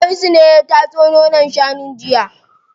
Hamisu ne ya tatso nonon shanun jiya.